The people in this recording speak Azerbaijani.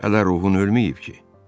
Ələ ruhun ölməyib ki?